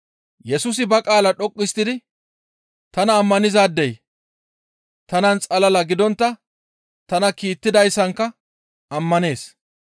Yesusi ba qaala dhoqqu histtidi, «Tana ammanizaadey tanan xalala gidontta tana kiittidayssanka ammanees.